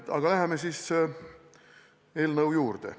Aga läheme eelnõu juurde.